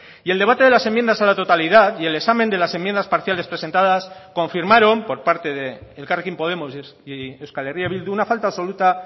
y el debate de las enmiendas a la totalidad y el examen de las enmiendas parciales presentadas confirmaron por parte de elkarrekin podemos y euskal herria bildu una falta absoluta